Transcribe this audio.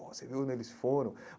Pô, você viu onde eles foram?